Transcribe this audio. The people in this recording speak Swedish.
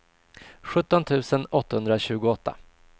sjutton tusen åttahundratjugoåtta